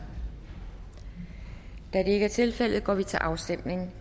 da det ikke er tilfældet går vi til afstemning